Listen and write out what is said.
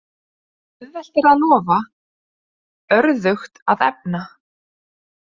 Auðvelt er að lofa, örðugt að efna.